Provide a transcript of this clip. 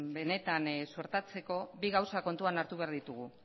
benetan suertatzeko bi gauza kontuan hartu behar ditugu